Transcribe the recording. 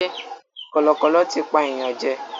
Kọ̀lọ̀kọ̀lọ̀ tí pa èèyàn jẹ.